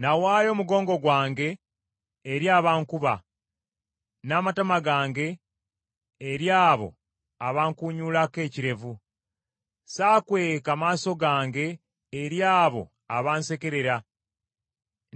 N’awaayo omugongo gwange eri abankuba, n’amatama gange eri abo abankunyuulako ekirevu. Saakweka maaso gange eri abo abansekerera